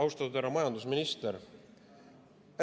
Austatud härra majandusminister!